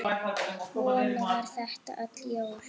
Svona var þetta öll jól.